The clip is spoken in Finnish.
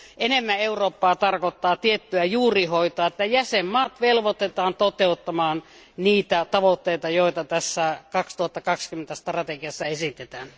Enemmän Eurooppaa tarkoittaa tiettyä juurihoitoa, että jäsenvaltiot velvoitetaan toteuttamaan niitä tavoitteita, joita tässä EU 2020 strategiassa esitetään.